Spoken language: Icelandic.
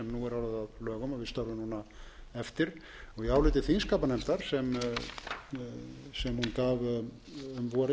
og við störfum núna eftir í áliti þingskapanefndar sem hún gaf um vorið